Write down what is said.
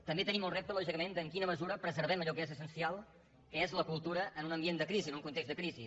també tenim el repte lògicament en quina mesura preservem allò que és essencial que és la cultura en un ambient de crisi en un context de crisi